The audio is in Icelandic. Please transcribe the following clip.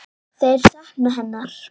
Þeir sakna hennar.